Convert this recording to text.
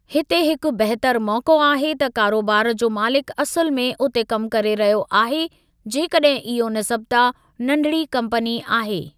हिते हिकु बहितर मौक़ो आहे त कारोबार जो मालिकु असुलु में उते कमु करे रहियो आहे जेकॾहिं इहो निस्बता नंढिड़ी कम्पनी आहे।